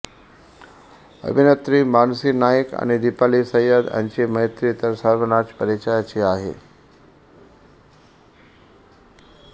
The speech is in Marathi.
अभिनेत्री मानसी नाईक आणि दीपाली सय्यद यांची मैत्री तर सर्वानाच परिचयाची आहे